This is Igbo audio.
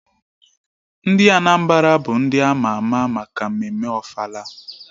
Ndị Anambra bụ ndị ama ama maka mmemme ofala